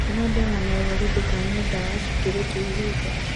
Nyua dawa na ũrori ndũkanyue dawa cikĩrĩtie ihinda